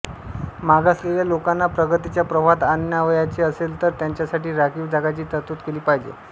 मागासलेल्या लोकांना प्रगतीच्या प्रवाहात आणावयाचे असेल तर त्यांच्यासाठी राखीव जागांची तरतूद केली पाहिजे